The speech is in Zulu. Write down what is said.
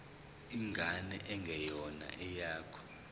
ingane engeyona eyakho